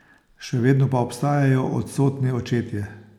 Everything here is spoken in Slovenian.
Še vedno pa obstajajo odsotni očetje.